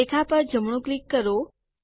રેખા પર જમણું ક્લિક કરો